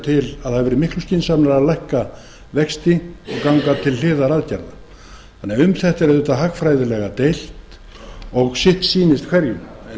til að það hefði verið miklu skynsamlegra að lækka vexti og ganga til hliðaraðgerða þannig að um þetta er auðvitað hagfræðilega deilt og sitt sýnist hverjum